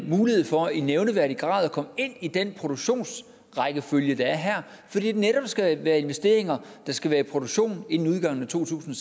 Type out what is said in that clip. mulighed for i nævneværdig grad at komme ind i den produktionsrækkefølge der er her fordi det netop skal være investeringer der skal være i produktion inden udgangen af to tusind